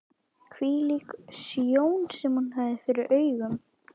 Hvílík sjón sem hún hafði fyrir augunum!